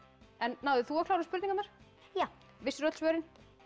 náðir þú að klára spurningarnar já vissirðu ölli svörin